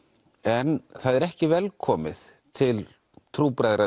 en það er ekki velkomið til